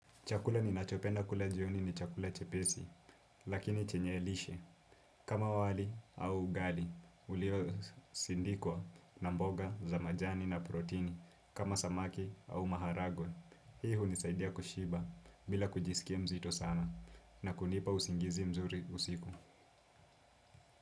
Chakula ninachopenda kula jioni ni chakula chepesi, lakini chenye lishe. Kama wali au ugali, uliosindikwa na mboga za majani na protini kama samaki au maharagwe. Hii hunisaidia kushiba bila kujisikia mzito sana na kunipa usingizi mzuri usiku.